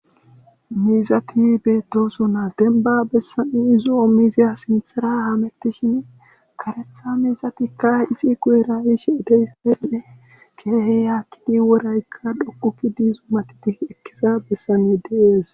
Mizati beedoso na denba bessani izo ommizeya sinthara hamettishin karetha miizatikka isi kuyerayish edeyseynne keehe yaakkidi woraykka dhoqukki diizu matidi ekkeza bessane deees